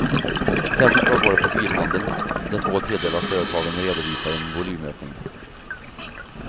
Särskilt bra går det för bilhandeln, där två tredjedeler av företagen redovisar en volymökning.